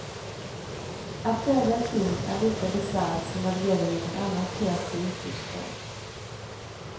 Att tävla i film är lika bisarrt som när det gäller någon annan kreativ uttrycksform.